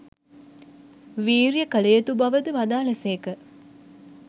වීර්යය කළ යුතු බවද වදාළ සේක.